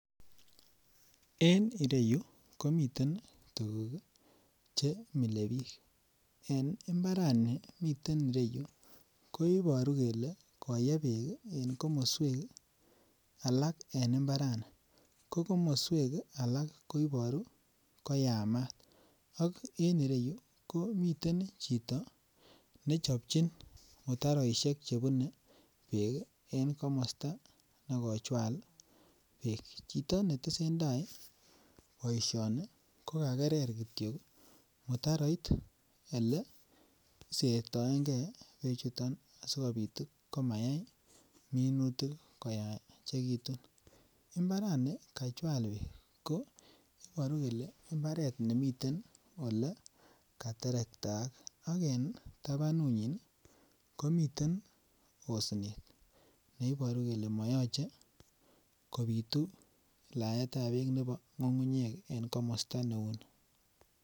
En ireyuu komiten tuko chemile bik en imbarani miten iroyuu koiboru kele koye beek en koswek alak en imbarani ko komoswek alak ko iboru ko yamat ak en ireyuu ko miten chito nechopchin mutaroishek chebune beek en komosto nekochwal beek. Chito netesetai boishoni ko kakerer kityok mutaroit nesertoengee beek chuton sikopit komayai minutik koyechekitun, imbarani kachwal beek ko iboru kole imbaret nemiten ole kateretaak ak en tabanunyin komiten osnet neiboru kole moyoche kopitu laetab beek nebo ngungunyek en komosto neu nii.